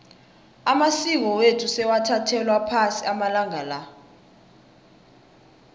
amasiko wethu sewathathelwa phasi amalanga la